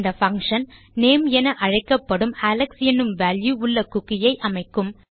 இந்த function name என அழைக்கப்படும் அலெக்ஸ் என்னும் வால்யூ உள்ள குக்கி ஐ அமைக்கும்